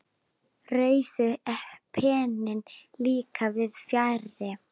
Rauði penninn líka víðs fjarri.